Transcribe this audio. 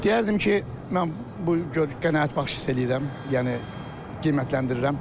Deyərdim ki, mən bu qənaətbəxş hiss eləyirəm, yəni qiymətləndirirəm.